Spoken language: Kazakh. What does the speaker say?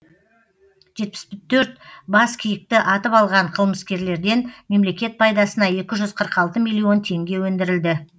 жетпіс төрт бас киікті атып алған қылмыскерлерден мемлекет пайдасына екі жүз қырық алты миллион теңге өндірілді